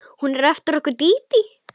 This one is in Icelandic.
Hún er eftir okkur Dídí.